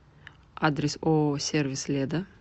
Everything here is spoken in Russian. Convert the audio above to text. адрес ооо сервис леда